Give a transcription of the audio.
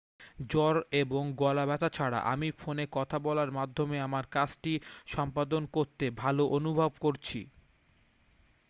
"""জ্বর এবং গলা ব্যথা ছাড়া আমি ফোনে কথা বলার মাধ্যমে আমার কাজটি সম্পাদন করতে ভালো অনুভব করছি।